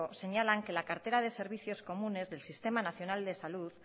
señalan que la cartera de servicios comunes del sistema nacional de salud